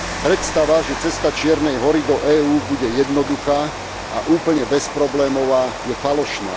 Predstava, že cesta Čiernej Hory do EÚ bude jednoduchá a úplne bezproblémová, je falošná.